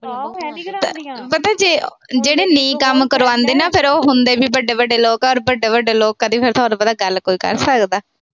ਪਤਾ ਜਿਹੜੇ ਨਹੀਂ ਕੰਮ ਕਰਵਾਉਂਦੇ, ਫਿਰ ਉਹ ਹੁੰਦੇ ਵੀ ਵੱਡੇ-ਵੱਡੇ ਲੋਕ ਆ ਔਰ ਵੱਡੇ-ਵੱਡੇ ਲੋਕਾਂ ਦੀ ਗੱਲ ਤੁਹਾਨੂੰ ਪਤਾ ਕੋਈ ਕਰ ਸਕਦਾ।